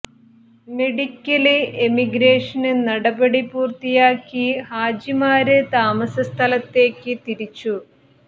medical emigration നടപടി പൂര്ത്തിയാക്കി ഹാജിമാര് താമസ സ്ഥലത്തേക്ക് തിരിച്ചു